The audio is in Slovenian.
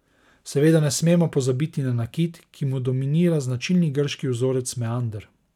Seveda ne smemo pozabiti na nakit, ki mu dominira značilni grški vzorec meander.